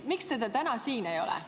Miks teda täna siin ei ole?